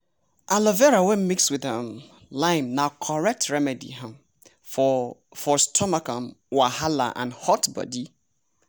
aloe vera wey mix with um lime na correct remedy um for for stomach um wahala and hot body.